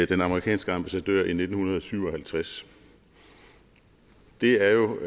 den amerikanske ambassadør i nitten syv og halvtreds det er jo